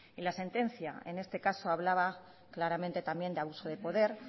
la sentencia en este caso hablaba claramente también de abuso de poder